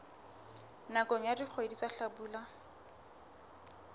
nakong ya dikgwedi tsa hlabula